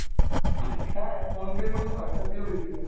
হ্যাঁ phone pay এর মতন Whatsapp pay ও বেরিয়ে গেছে